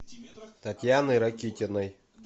татьяны ракитиной